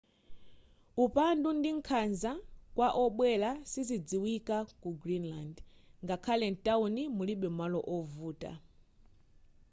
upandu ndi nkhanza kwa obwera sizidziwika ku greenland.ngakhale mtawuni mulibe malo ovuta